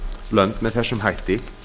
lönd með þessum hætti